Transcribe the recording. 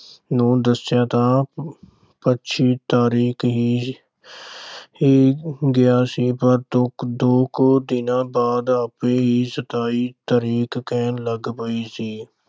ਨੂੰ ਦੱਸਿਆ ਤਾਂ ਪੱਚੀ ਤਾਰੀਖ ਹੀ ਗਿਆ ਸੀ, ਪਰ ਦੋ ਕੁ ਦਿਨਾਂ ਬਾਅਦ ਆਪੇ ਹੀ ਸਤਾਈ ਤਰੀਕ ਕਹਿਣ ਲੱਗ ਪਈ ਸੀ।